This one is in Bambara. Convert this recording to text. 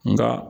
Nka